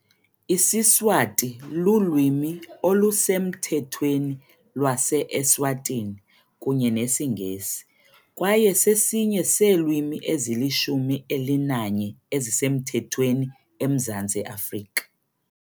IsiSwati lulwimi olusemthethweni lwase-Eswatini kunye nesiNgesi, kwaye sesinye seelwimi ezilishumi elinanye ezisemthethweni eMzantsi Afrika.